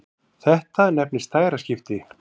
Þetta nefnist dægraskipti.